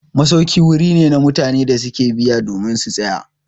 Masauki wuri ne da mutane su ke biya domin su tsaya.